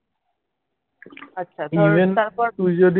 আচ্ছা